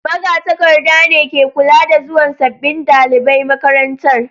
Magatakarda ne ke kula da zuwan sabbin dalibai makarantar.